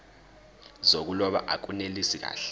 zokuloba akunelisi kahle